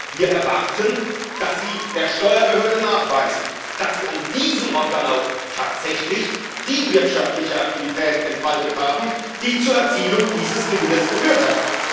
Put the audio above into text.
Wir erwarten, dass sie der Steuerbehörde nachweisen, dass sie an diesem Ort dann auch tatsächlich die wirtschaftliche Aktivität entfaltet haben, die zur Erzielung dieses Gewinnes geführt hat.